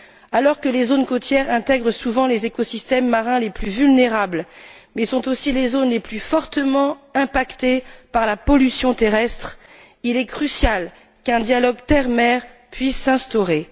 Alors que les zones côtières intègrent souvent les écosystèmes marins les plus vulnérables mais sont aussi les zones les plus fortement impactées par la pollution terrestre, il est crucial qu'un dialogue terre mer puisse s'instaurer.